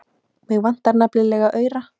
Mig vantaði nefnilega aura.